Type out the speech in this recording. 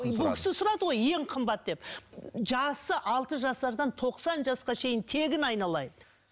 бұл кісі сұрады ғой ең қымбат деп жасы алты жасардан тоқсан жасқа шейін тегін айналайын